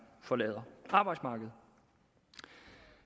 forlader arbejdsmarkedet